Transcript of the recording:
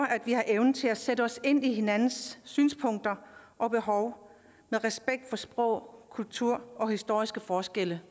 at vi har evnen til at sætte os ind i hinandens synspunkter og behov med respekt for sprog kultur og historiske forskelle